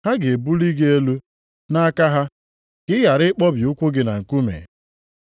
ha ga-ebuli gị elu nʼaka ha, ka ị ghara ịkpọbi ụkwụ gị na nkume.’ + 4:11 \+xt Abụ 91:11,12\+xt*”